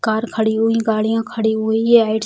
car खड़ी हुई गाड़ियाँ खड़ी हुई है |